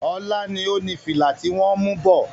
Ọlá ni ó ní fìlà ti wọn ń mú bọ̀.